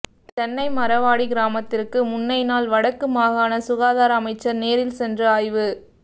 தென்னைமரவாடி கிராமத்திற்கு முன்னைநாள் வடக்கு மாகாண சுகாதார அமைச்சர் நேரில் சென்று ஆய்வு